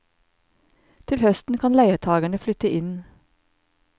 Til høsten kan leietagerne flytte inn.